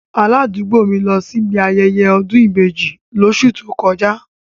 Aládùúgbò mi lọ síbi ayẹyẹ ọ̀dún ìbeji lóṣù tó kọjá.